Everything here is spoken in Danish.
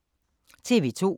TV 2